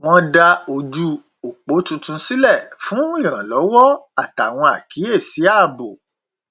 wọn dá ojú opo tuntun sílẹ fún ìrànlọwọ àtàwọn àkíyèsí ààbò